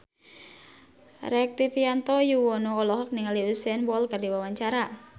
Rektivianto Yoewono olohok ningali Usain Bolt keur diwawancara